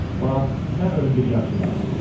Bax, mən ölüm bir yaxşı bax.